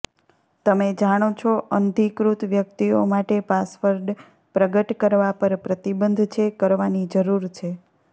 તમે જાણો છો અનધિકૃત વ્યક્તિઓ માટે પાસવર્ડ પ્રગટ કરવા પર પ્રતિબંધ છે કરવાની જરૂર છે